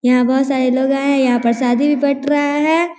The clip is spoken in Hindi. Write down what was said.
यहाँ बहोत सारे लोग आए हैं यहाँ पर शादी भी बट रहा है।